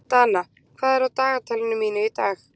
Dana, hvað er á dagatalinu mínu í dag?